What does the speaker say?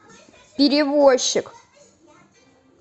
перевозчик